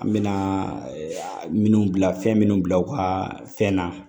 An bɛna minnu bila fɛn minnu bila u ka fɛn na